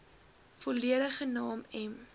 volledige naam m